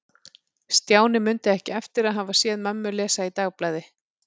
Stjáni mundi ekki eftir að hafa séð mömmu lesa í dagblaði.